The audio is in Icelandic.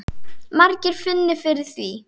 Margir finni fyrir því.